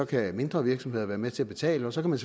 kan mindre virksomheder være med til at betale så kan man